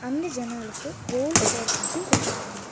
அந்த ஜன்னலுக்கு gold curtains போட்ருக்காங்க.